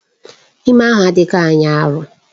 Ime ahụ adịghị anya arọ